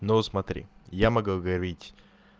ну смотри я могу говорить